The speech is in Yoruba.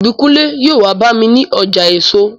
Ìbíkúnlé yóò wá bá mi ní ọjà èso